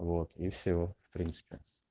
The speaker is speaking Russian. вот и всё в принципе